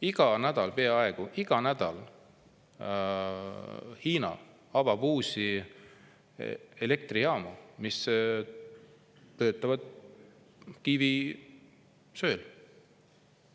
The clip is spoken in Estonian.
Iga nädal, peaaegu iga nädal avab Hiina uusi elektrijaamu, mis töötavad kivisöel.